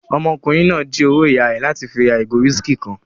Ọmọkùnrin náà jí owó ìyá rẹ̀ láti fi ra ìgò whiskey kan